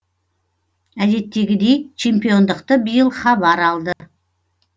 әдеттегідей чемпиондықты биыл хабар алды